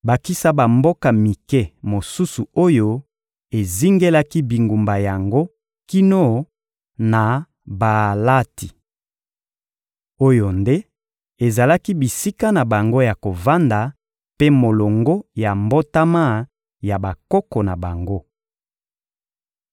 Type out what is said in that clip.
bakisa bamboka mike mosusu oyo ezingelaki bingumba yango kino na Baalati. Oyo nde ezalaki bisika na bango ya kovanda mpe molongo ya mbotama ya bakoko na bango.